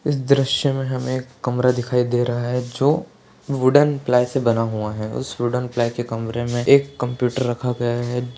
इस दृष्य मे हमे एक कमरा दिखाई दे रहा है जो वूडन प्लाई से बना हुआ-- उस वूडन प्लाई के कमरे मे एक कम्प्युटर रखा गया है।